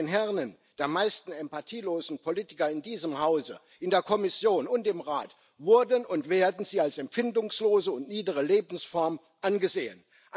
In den Hirnen der meisten empathielosen Politikern in diesem Hause, in der Kommission und im Rat wurden und werden sie als empfindungslose und niedere Lebensform angesehen.